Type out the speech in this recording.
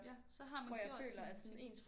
Ja så har man gjort sin ting